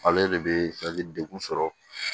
Ale de bɛ degun sɔrɔ